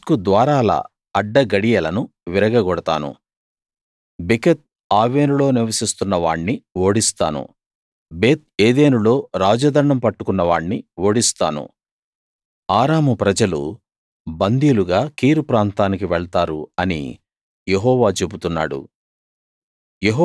దమస్కు ద్వారాల అడ్డగడియలను విరగగొడతాను బికత్ ఆవెనులో నివసిస్తున్న వాణ్ణి ఓడిస్తాను బెత్ ఏదేనులో రాజదండం పట్టుకున్న వాణ్ణి ఓడిస్తాను ఆరాము ప్రజలు బందీలుగా కీరు ప్రాంతానికి వెళ్తారు అని యెహోవా చెబుతున్నాడు